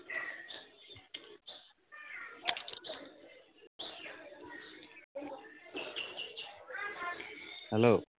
Hello